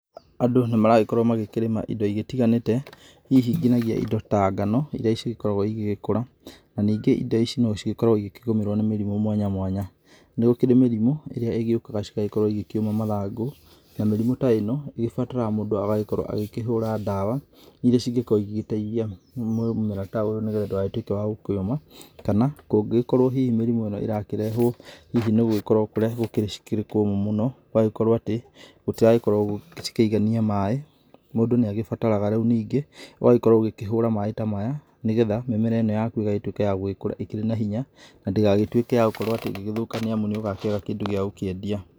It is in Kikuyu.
Andũ nĩmaragĩkorwo magĩkĩrĩma indo itiganĩte hihi nginyagia indo ta ngano iria cikoragwa igĩkũra, na ningĩ indo ici nĩigĩkoragwa igĩgũmĩrwa nĩ mĩrimũ mwanya mwanya, nĩgũkĩrĩ mĩrimũ ĩrĩa ĩgĩgĩũkaya cigakorwo cikĩũma mathangũ na mĩrimũ ta ĩno ĩbataraga mũndũ agagĩkorwa akĩhũra ndawa iria cingĩkorwo igĩteithia mũmera ta ũyũ ũtĩkanatuĩke wagũkĩũma kana ngũkĩkorwo hihi mĩrimũ ĩno ĩrakĩrehwo hihi nĩgũkorwo kũrĩa gũkĩrĩ kũmũ mũno ũgagĩkorwo atĩ, itiragĩkorwo cikigania maĩ ,mũndũ nĩakĩbataraga rĩũ ningĩ agagĩkorwo akĩhũra maĩ ta maya nĩgetha mĩmera ĩno yaku ĩgagĩtũika ya kũgĩkũra ĩkĩra na hinya na ndĩgagĩtuĩke ya gũkorwo atĩ ya kũthũka nĩamu nĩũgakĩaga kĩndũ ya gũkĩendia.